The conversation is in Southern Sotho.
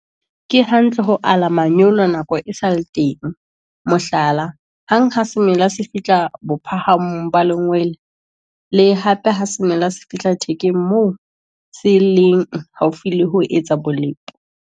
Ke hantle ho ala manyolo nako e sa le teng, mohlala, hang ha semela se fihla bophahamong ba lengwele, le hape ha semela se fihla thekeng moo se leng haufi le ho etsa bolepo.